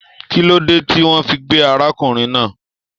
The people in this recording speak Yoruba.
Kí ló dé tí wọn fí gbé arákùnrin náà?